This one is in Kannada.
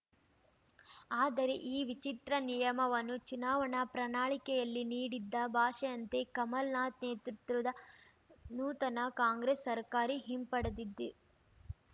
ಆದರೆ ಈ ವಿಚಿತ್ರ ನಿಯಮವನ್ನು ಚುನಾವಣಾ ಪ್ರಣಾಳಿಕೆಯಲ್ಲಿ ನೀಡಿದ್ದ ಭಾಷೆಯಂತೆ ಕಮಲ್‌ನಾಥ್‌ ನೇತೃತ್ವದ ನೂತನ ಕಾಂಗ್ರೆಸ್‌ ಸರ್ಕಾರಿ ಹಿಂಪಡೆದಿದ್ದಿ